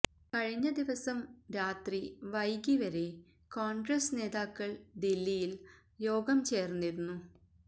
കഴിഞ്ഞ ദിവസം രാത്രി വൈകി വരെ കോണ്ഗ്രസ് നേതാക്കള് ദില്ലിയില് യോഗം ചേര്ന്നിരുന്നു